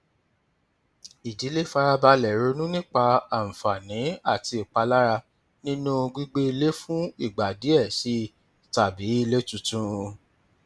ìdílé fara balẹ ronú nípa àǹfààní àti ìpalára nínú gbígbé ilé fún ìgbà díẹ sí i tàbí ilé tuntun